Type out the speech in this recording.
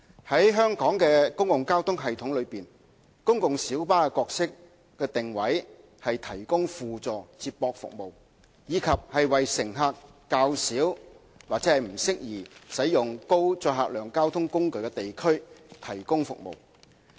在香港的公共交通系統中，公共小巴的角色定位是提供輔助接駁服務，以及為乘客較少或不適宜使用高載客量交通工具的地區提供服務。